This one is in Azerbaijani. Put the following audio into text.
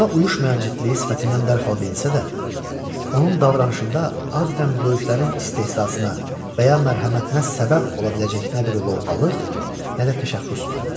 Yaşına uyuşmayan ciddiliyi sifətindən dərhal bilinsə də, onun davranışında adətən böyüklərin istehzasına və ya mərhəmətinə səbəb ola biləcək nə bir luvğalıq, nə də təşəxxüs vardı.